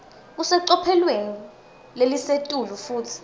kusecophelweni lelisetulu futsi